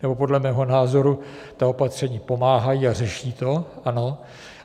Nebo podle mého názoru ta opatření pomáhají a řeší to, ano.